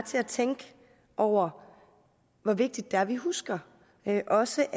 til at tænke over hvor vigtigt det er at vi husker at også